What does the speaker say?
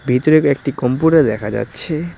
ভিতরে কয়েকটি কম্পিউটার দেখা যাচ্ছে।